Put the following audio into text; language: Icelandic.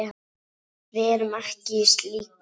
Við erum ekki í slíku.